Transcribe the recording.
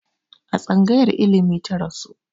A tsangayar ilimi ta rasu